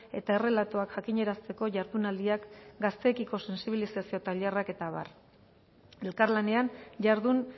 eta errelatoak jakinarazteko jardunaldiak gazteekiko sentsibilizazio tailerrak eta abar elkarlanean jardun